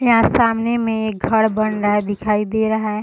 यहाँ सामने में एक घर बन रहा है दिखाई दे रहा है।